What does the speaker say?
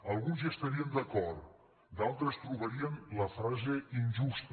alguns hi estarien d’acord d’altres trobarien la frase injusta